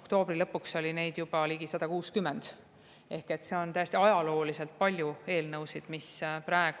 oktoobri lõpuks oli eelnõusid ja väljatöötamiskavatsusi juba ligi 160.